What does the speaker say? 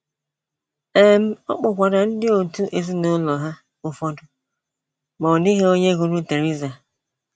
um Ọ kpọkwara ndị òtù ezinụlọ ha ụfọdụ, ma ọ dịghị onye hụrụ Theresa.